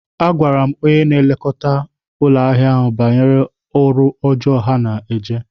Agwara m onye na-elekọta anụ ụlọ banyere ọrụ ọjọọ ha na-eje.